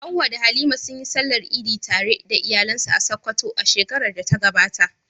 Hawwa da Halima sun yi Sallar Idi tare da iyalansu a Sakkwato a shekarar da ta gabata.